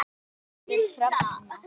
Þín dóttir, Hrefna.